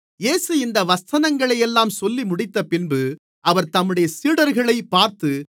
இயேசு இந்த வசனங்களையெல்லாம் சொல்லிமுடித்தபின்பு அவர் தம்முடைய சீடர்களைப் பார்த்து